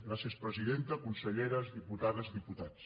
gràcies presidenta conselleres diputades i diputats